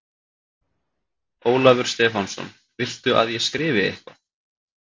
Ólafur Stefánsson: Viltu að ég skrifi eitthvað?